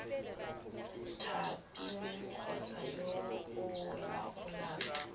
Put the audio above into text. thapilweng kgotsa yo o laolang